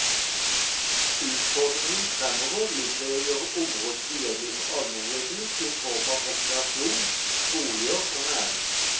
Utfordringen fremover ligger i å gjøre området tilgjengelig for almenheten i form av rekreasjon, boliger og næring.